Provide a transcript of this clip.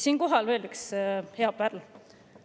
" Siinkohal veel üks hea pärl.